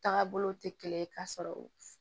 Taga bolo tɛ kelen ye k'a sɔrɔ